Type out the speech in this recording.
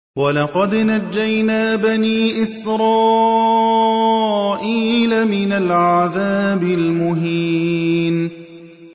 وَلَقَدْ نَجَّيْنَا بَنِي إِسْرَائِيلَ مِنَ الْعَذَابِ الْمُهِينِ